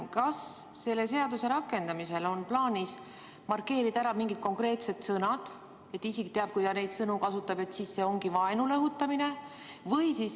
Kas selle seaduse rakendamisel on plaanis markeerida ära mingid konkreetsed sõnad, nii et isik teaks, et kui ta neid sõnu kasutab, siis see on vaenule õhutamine?